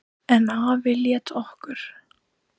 En afi lét okkur